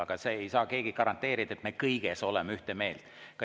Aga keegi ei saa garanteerida, et me kõiges oleme ühte meelt.